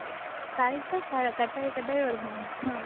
cut ஆகி cut ஆகி வருது ma'am உம்